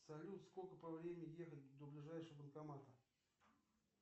салют сколько по времени ехать до ближайшего банкомата